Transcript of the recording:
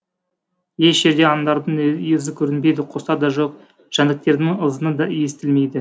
еш жерде аңдардың ізі көрінбейді құстар да жоқ жәндіктердің ызыңы да естілмейді